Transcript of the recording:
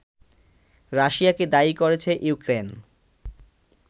রাশিয়াকে দায়ী করেছে ইউক্রেন